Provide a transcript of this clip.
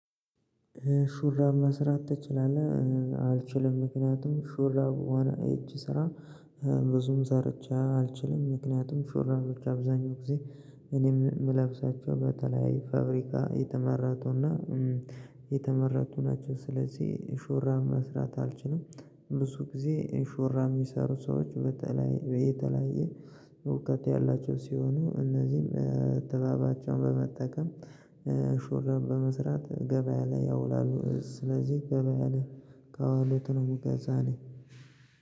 ሹራብ መስራት ትችላለህ? እ አልችልም ምክንያቱም ሹራብ ሆነ የእጅ ስራ እ ብዙም ሰርቼ አልችልም ምክንያቱም ሹራቦች አብዛኛው ጊዜ እኔም ምልብሳቸው በተለያዬ ፋብሪካ የተመረቱና እም የተመረቱ ናቸው ስለዚህ ሹራብ መስራት አልችልም። ብዙ ጊዜ ኢን ሹራብ የሚሰሩ ሰዎች በተለይ በየተለያየ እውቀት ያላቸው ሲሆኑ እነዚህም እ ጥበባቸውን በመጠቀም እ ሹራብ በመስራት ገበያ ላይ ያውላሉ። ስለዚህ ገበያ ላይ ካዋሉት ነው ምገዛ እኔ።